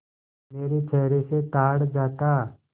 मेरे चेहरे से ताड़ जाता